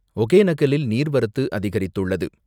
ஒகேனக்கலில் நீர்வரத்து அதிகரித்துள்ளது.